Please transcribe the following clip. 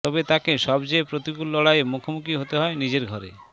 তবে তাকে সবচেয়ে প্রতিকূল লড়াইয়ের মুখোমুখি হতে হয় নিজের ঘরে